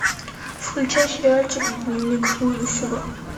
включай сериальчик дневник будущего